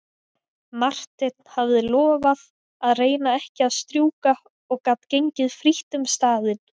Marteinn hafði lofað að reyna ekki að strjúka og gat gengið frítt um staðinn.